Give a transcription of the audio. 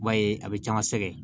I b'a ye a bɛ caman sɛgɛn